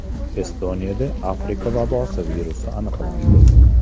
Estoniyada Afrika vabosi virusi aniqlandi.